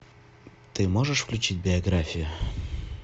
ты можешь включить биографию